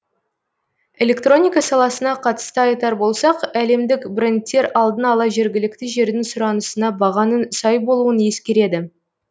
электроника саласына қатысты айтар болсақ әлемдік брендтер алдын ала жергілікті жердің сұранысына бағаның сай болуын ескереді